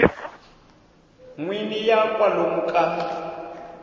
n wini ya kwalomu ka